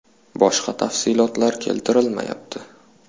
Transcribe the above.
Boshqa tafsilotlar keltirilmayapti.